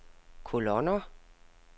kolonner